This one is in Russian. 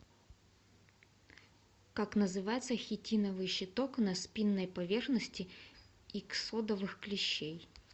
как называется хитиновый щиток на спинной поверхности иксодовых клещей